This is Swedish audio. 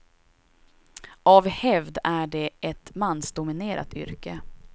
Av hävd är det ett mansdominerat yrke.